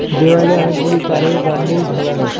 দেওয়ালে অনেকগুলি তারের বান্ডিল ঝোলানো।